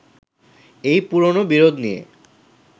এই পুরোনো বিরোধ নিয়ে